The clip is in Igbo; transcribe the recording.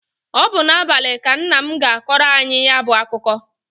Ọ bụ n'abalị ka nna m ga-akọrọ anyị ya bụ akụkọ.